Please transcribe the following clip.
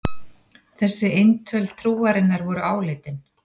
Þessi eintöl trúarinnar voru áleitin.